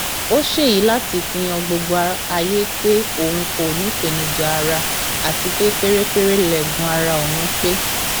ó ṣèyí láti fi han gbogbo ayé pé òun kò nípèníjà ara àti pé pérépéré lẹẹgùn ara òun pé